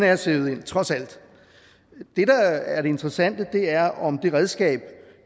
er sivet ind trods alt det der er det interessante er om det redskab